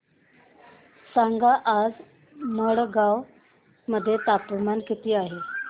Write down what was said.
सांगा आज मडगाव मध्ये तापमान किती आहे